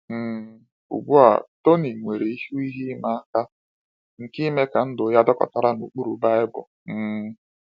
um Ugbu a, Tony nwere ihu ihe ịma aka nke ime ka ndụ ya dakọtara na ụkpụrụ Baịbụl. um